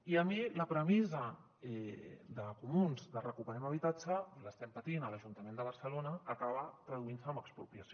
i a mi la premissa de comuns de recuperem habitatge l’estem patint a l’ajuntament de barcelona acaba traduint se en expropiació